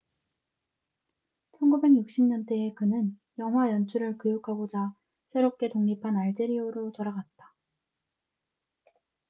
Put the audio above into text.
1960년대에 그는 영화 연출을 교육하고자 새롭게 독립한 알제리아로 돌아갔다